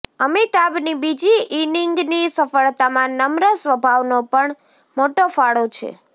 અમિતાભની બીજી ઈનિંગની સફળતામાં નમ્ર સ્વભાવનો પણ મોટો ફાળો છે